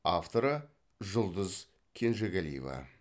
авторы жұлдыз кенжегалиева